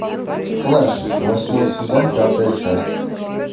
флэш восьмой сезон пятая часть